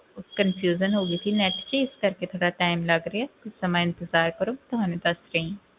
ਉਹ confusion ਹੋ ਗਈ ਸੀ net 'ਚ ਇਸ ਕਰਕੇ ਥੋੜ੍ਹਾ time ਲੱਗ ਰਿਹਾ ਕੁਛ ਸਮਾਂ ਇੰਤਜ਼ਾਰ ਕਰੋ ਤੁਹਾਨੂੰ ਦੱਸ ਰਹੀ ਹਾਂ।